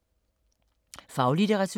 Faglitteratur